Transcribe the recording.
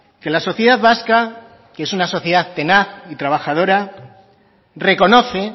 que la sociedad vasca que es una sociedad tenaz y trabajadora reconoce